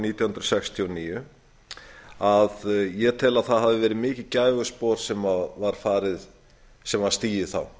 hundruð sextíu og níu ég tel að það hafi verið mikið gæfuspor sem var stigið þá